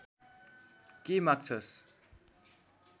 के माग्छस्